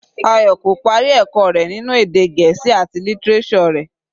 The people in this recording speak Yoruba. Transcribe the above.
Ayò kò parí ẹ̀kọ́ rẹ̀ ninu èdè Gẹ̀ẹ́sì àti lítíréṣọ̀ rẹ̀.